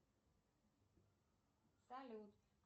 салют